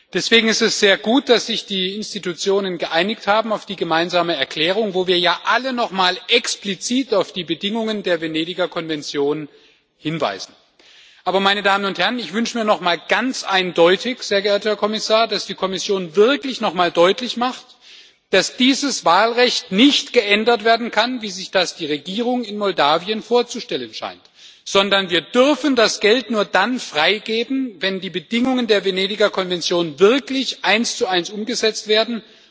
Deswegen ist es sehr gut, dass sich die Institutionen auf die Gemeinsame Erklärung geeinigt haben, in der wir ja alle noch mal explizit auf die Bedingungen der Venedig Kommission hinweisen. Aber ich wünsche mir ganz eindeutig, sehr geehrter Herr Kommissar, dass die Kommission wirklich noch mal deutlich macht, dass dieses Wahlrecht nicht so geändert werden kann, wie sich das die Regierung in Moldau vorzustellen scheint, sondern wir dürfen das Geld nur dann freigeben, wenn die Bedingungen der Venedig Kommission wirklich eins zu eins umgesetzt werden.